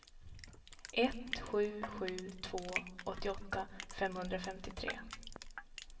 ett sju sju två åttioåtta femhundrafemtiotre